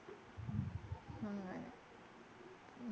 അങ്ങനെ